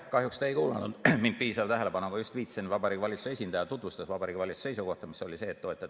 Kahjuks te ei kuulanud mind piisava tähelepanuga, sest ma just viitasin, et Vabariigi Valitsuse esindaja tutvustas Vabariigi Valitsuse seisukohta, mis oli eelnõu toetav.